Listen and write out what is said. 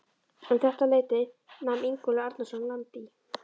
Um þetta leyti nam Ingólfur Arnarson land í